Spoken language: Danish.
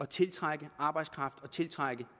tiltrække arbejdskraft og tiltrække